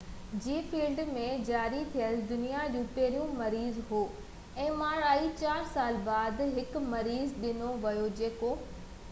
چار سال بعد هڪ مريض ڏنو ويو جيڪو mri جي فيلڊ ۾ جاري ٿيل دنيا جو پهريون مريض هو